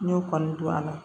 N y'o kɔni don a la